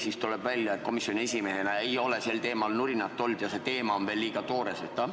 Või tuleb välja, et komisjoni esimehena ei ole te sel teemal nurinat kuulnud ja see teema on veel liiga toores?